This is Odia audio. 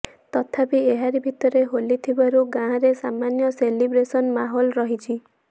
ତଥାପି ଏହାରି ଭିତରେ ହୋଲି ଥିବାରୁ ଗାଁରେ ସାମାନ୍ୟ ସେଲିବ୍ରେସନ ମାହୋଲ ରହିଛି